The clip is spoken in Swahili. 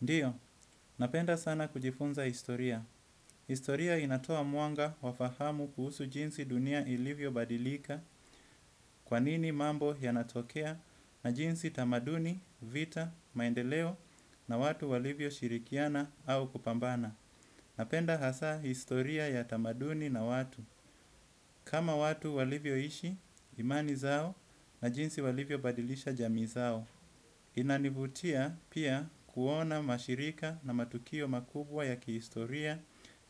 Ndio, napenda sana kujifunza historia. Historia inatoa mwanga wa fahamu kuhusu jinsi dunia ilivyobadilika kwa nini mambo yanatokea na jinsi tamaduni, vita, maendeleo na watu walivyoshirikiana au kupambana. Napenda hasa historia ya tamaduni na watu. Kama watu walivyoishi, imani zao na jinsi walivyobadilisha jamii zao. Inanivutia pia kuona mashirika na matukio makubwa ya kihistoria